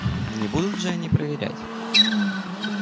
не будут же они проверять